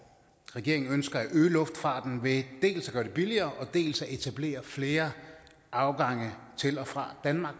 regeringen ønsker at øge luftfarten ved dels at gøre det billigere dels at etablere flere afgange til og fra danmark